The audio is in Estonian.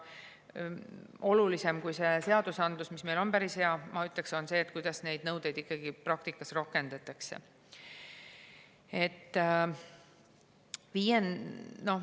Ma ütleksin, et olulisem kui seadused, mis on meil päris head, on see, kuidas neid nõudeid praktikas rakendatakse.